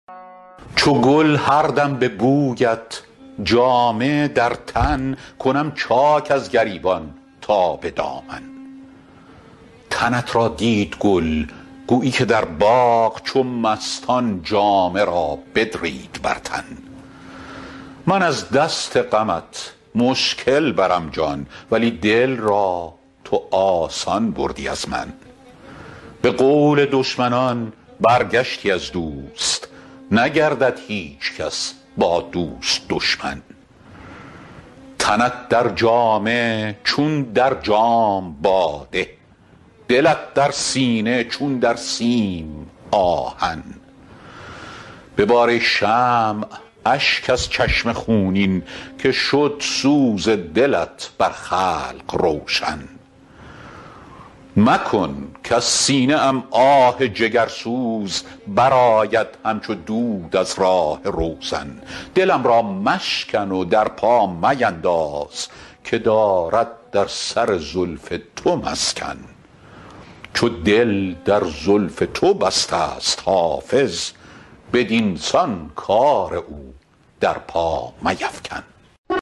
چو گل هر دم به بویت جامه در تن کنم چاک از گریبان تا به دامن تنت را دید گل گویی که در باغ چو مستان جامه را بدرید بر تن من از دست غمت مشکل برم جان ولی دل را تو آسان بردی از من به قول دشمنان برگشتی از دوست نگردد هیچ کس با دوست دشمن تنت در جامه چون در جام باده دلت در سینه چون در سیم آهن ببار ای شمع اشک از چشم خونین که شد سوز دلت بر خلق روشن مکن کز سینه ام آه جگرسوز برآید همچو دود از راه روزن دلم را مشکن و در پا مینداز که دارد در سر زلف تو مسکن چو دل در زلف تو بسته ست حافظ بدین سان کار او در پا میفکن